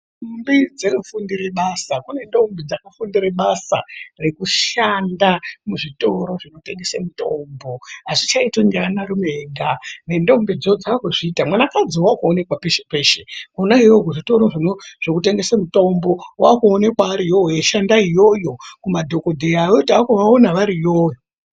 Ndombi dzino fundire basa kune ndombi dzaka fundire basa reku shanda mu zvitoro zvino tengese mutombo azvicha itwi nge ana rume ega ne ndombi dzo dzaku zviita mwana kadzi waku onekwa peshe peshe kona yoyo ku zvitoro zveku tengese mutombo waku onekwawo ariyo eyi shanda iyoyo ku madhokodheya weita kuona variyoyo.